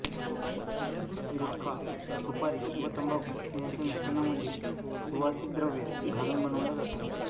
गुटखा सुपारी व तंबाखू यांच्या मिश्रणामध्ये सुवासिक द्रव्ये घालून बनवला जातो